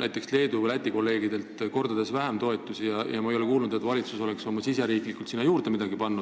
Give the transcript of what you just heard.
näiteks Leedu ja Läti kolleegidega võrreldes mitu korda vähem, ja ma ei ole kuulnud, et valitsus oleks riigisiseselt sinna midagi juurde pannud.